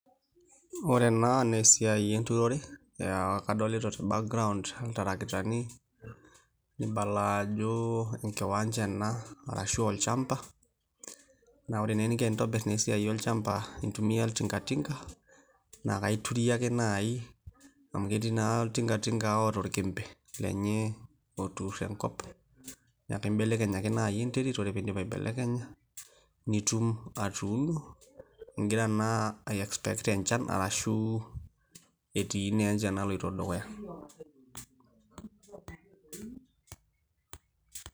Ore ena naa esiai enturore, kadolita te background iltarakitani nibala ajo enkiwanja ena arashu aa olchamba naa ore naa eninko tenintobirr naa esiai olchamba intumia oltingatinga naa akaiturie ake naai amu ketii naa oltingatinga oota orkempe lenye oturr enkop neeku kaimbelekeny ake naai enterit ore pee indip aibelekenya nitum atuuno igira naa aii expect enchan arashu etii naa enchan naloito dukuya.